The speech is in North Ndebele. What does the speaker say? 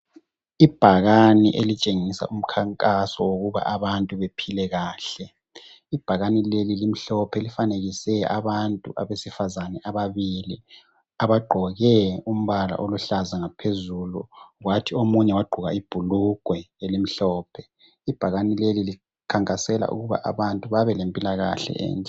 ibhakane elitshengisa umkhankaso wokuba abantu bephile kahle ibhakane leli limhlophe lifanekise abantu abesifazane ababili abagqoke umbala oluhlaza ngaphezulu kwathi omunye wagqoka ibhulugwe elimhlophe ibhakane leli likhankasela ukuthi abantu babelempilakahle